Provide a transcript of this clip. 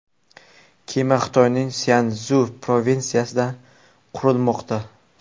Kema Xitoyning Szyansu provinsiyasida qurilmoqda.